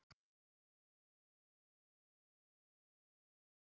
Við vorum mjög vel skipulagðir og áttum góð færi.